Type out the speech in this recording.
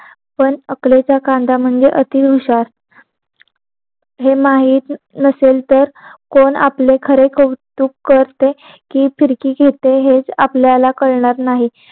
पण अक्कलेचा कांदा म्हणजे अति हुशार हे माहित नसेल तर कोण आपले खरे कौतुक करते कि फिरकी घेते हे आपल्याला कळणार नाही